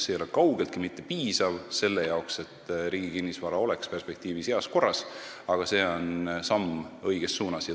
See ei ole kaugeltki mitte piisav selle jaoks, et riigi kinnisvara oleks perspektiivis heas korras, aga see on samm õiges suunas.